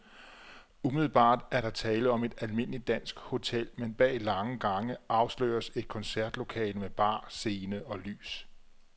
Umiddelbart er der tale om et almindeligt dansk hotel, men bag lange gange afsløres et koncertlokale med bar, scene og lys.